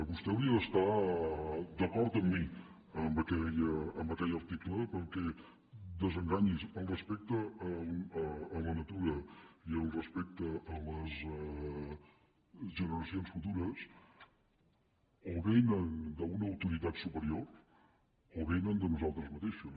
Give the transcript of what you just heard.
vostè hauria d’estar d’acord amb mi en aquell article perquè desenganyi’s el respecte a la natura i el respecte a les generacions futures o vénen d’una autoritat superior o vénen de nosaltres mateixos